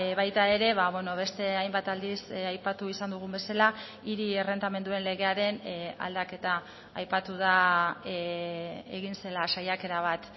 baita ere beste hainbat aldiz aipatu izan dugun bezala hiri errentamenduen legearen aldaketa aipatu da egin zela saiakera bat